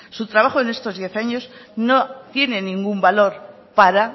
su trabajo en estos diez años no tiene ningún valor para